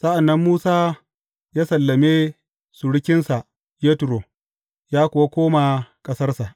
Sa’an nan Musa ya sallame surukinsa Yetro, ya kuwa koma ƙasarsa.